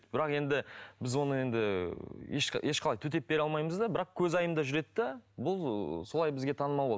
бірақ енді біз оны енді ешқандай төтеп бере алмаймыз да бірақ көзайымда жүреді де бұл солай бізге танымал болды